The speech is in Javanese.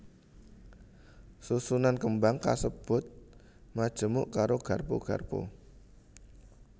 Susunan kembang kasebut majemuk karo garpu garpu